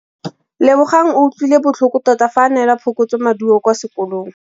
Lebogang o utlwile botlhoko tota fa a neelwa phokotsômaduô kwa sekolong.